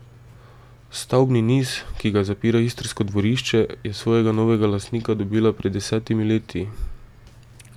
Stavbni niz, ki ga zapira istrsko dvorišče, je svojega novega lastnika dobila pred desetimi leti.